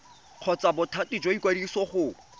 kgotsa bothati jwa ikwadiso go